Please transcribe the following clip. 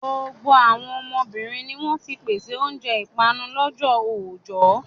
Gbogbo àwọn obìnrin ni wọ́n ti ń pèsè oúnjẹ ìpanu lọ́jọ́ oojọ́.